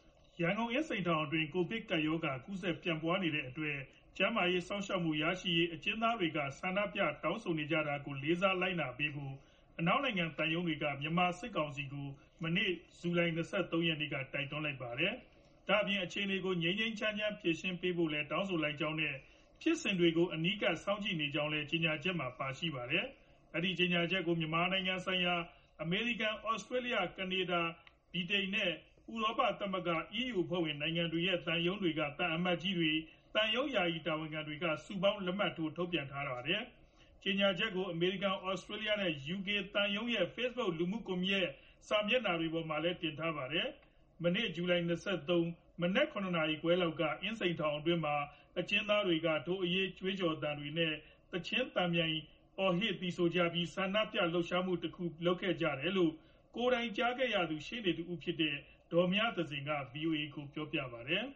ရန်ကုန် အင်းစိန်ထောင်အတွင်း ကိုဗစ်ကပ်ရောဂါ ကူးစက်ပြန့်ပွားနေတဲ့အတွက် ကျန်းမာရေးစောင့်ရှောက်မှု ရရှိရေး အကျဉ်းသားတွေက ဆန္ဒပြတောင်းဆိုနေကြတာကို လေးစားလိုက်နာပေးဖို့ မြန်မာစစ်ကောင်စီကို အနောက်နိုင်ငံ သံရုံးတွေက မနေ့ ဇူလိုင် ၂၃ရက်နေ့က တိုက်တွန်းလိုက်ပါတယ်။ ဒါအပြင် အခြေအနေကို ငြိမ်းငြိမ်းချမ်းချမ်း ဖြေရှင်းပေး ဖို့လည်း တောင်းဆိုလိုက်ကြောင်း နဲ့ ဖြစ်စဉ်တွေကို အနီးကပ်စောင့်ကြည့်နေကြောင်းလည်း ကျေညာချက်မှာ ပါရှိပါတယ်။ အဲဒီကျေညာချက်ကို မြန်မာနိုင်ငံဆိုင်ရာ သြစတေးလျ၊ ကနေဒါ၊ အမေရိကန်၊ ဗြိတိ နဲ့ ဥရောပသမဂ္ဂအဖွဲ့ဝင်နိုင်ငံတွေရဲ့ သံရုံးတွေက သံအမတ်ကြီးတွေ၊ သံရုံးယာယီတာဝန်ခံတွေက စုပေါင်းလက်မှတ်ထိုးထုတ်ပြန်ထားပါတယ်။ | ဒီကျေညာချက်ကို အမေရိကန်၊ သြစတေးလျနဲ့ ယူကေသံရုံးတို့ရဲ့ Facebook လူမှုကွန်ရက် စာမျက်နှာမှာတွေမှာလည်း တင်ထားပါတယ်။ မနေ့ ဇူလိုင် ၂၃ရက် မနက် ၇ နာရီခွဲလောက်က အင်းစိန်ထောင်အတွင်းမှာ အကျဉ်းသားတွေက ဒို့အရေး ကြွေးကြော်သံတွေနဲ့ သီချင်းသံပြိုင် အော်ဟစ်သီဆိုကြပြီး ဆန္ဒပြလှုပ်ရှားမှုတခု လုပ်ခဲ့ကြတယ်လို့ ကိုယ်တိုင်ကြားခဲ့ရသူ ရှေ့နေတဦးဖြစ်တဲ့ ဒေါ်မြသဇင်က ဗွီအိုအေကို ပြောပြပါတယ်